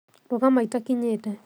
Rũgama itakinyĩte